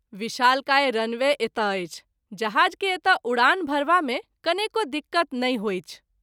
विशालकाय रनवे एतय अछि जहाज़ के एतय उड़ान भरबा मे कनेको दिक़्क़त नहिं होइछ।